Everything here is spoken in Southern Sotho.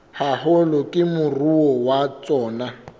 haholo ke moruo wa tsona